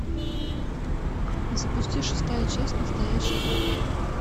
запусти шестая часть настоящая кровь